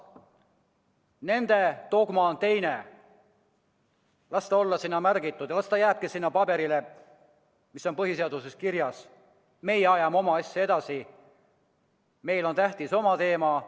Nende dogma on teine: las see olla sinna märgitud, aga las see, mis on põhiseaduses kirjas, jääb sinna paberile, meie ajame oma asja edasi, meile on tähtsad omad teemad.